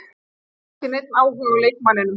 Þeir hafa ekki neinn áhuga á leikmanninum.